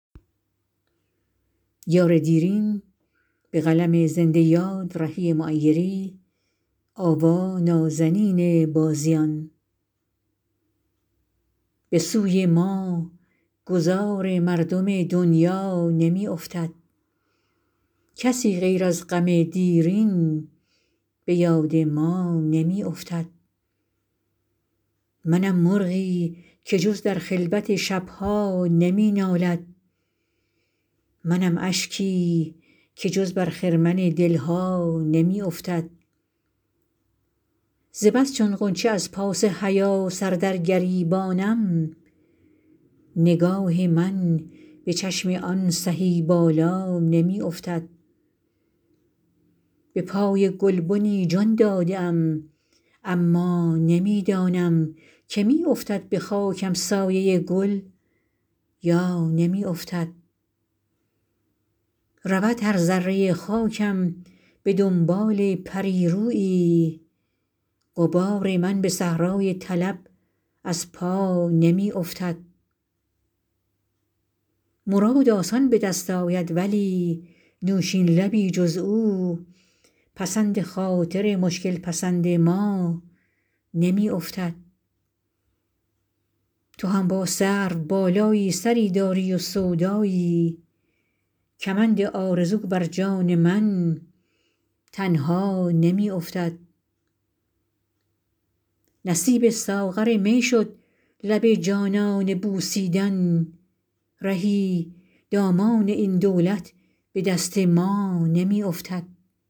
به سوی ما گذار مردم دنیا نمی افتد کسی غیر از غم دیرین به یاد ما نمی افتد منم مرغی که جز در خلوت شب ها نمی نالد منم اشکی که جز بر خرمن دل ها نمی افتد ز بس چون غنچه از پاس حیا سر در گریبانم نگاه من به چشم آن سهی بالا نمی افتد به پای گلبنی جان داده ام اما نمی دانم که می افتد به خاکم سایه گل یا نمی افتد رود هر ذره خاکم به دنبال پری رویی غبار من به صحرای طلب از پا نمی افتد مراد آسان به دست آید ولی نوشین لبی جز او پسند خاطر مشکل پسند ما نمی افتد تو هم با سروبالایی سری داری و سودایی کمند آرزو برجان من تنها نمی افتد نصیب ساغر می شد لب جانانه بوسیدن رهی دامان این دولت به دست ما نمی افتد